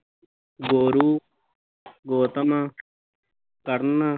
ਗੋਰੂ, ਗੋਤਮ ਤਰਨ